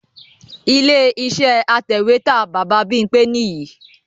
Ilé iṣẹ́ atẹ̀wẹ́tà Baba Bímpé nìyìí